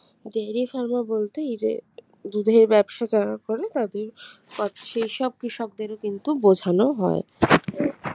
dairy pharma বলতে এই যে দুধের ব্যবসা যারা করে তাদের অ সেই সব কৃষকদেরও কিন্তু বোঝানো হয়।